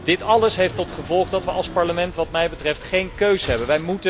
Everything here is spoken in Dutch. Dit alles heeft tot gevolg dat we als Parlement wat mij betreft geen keus hebben.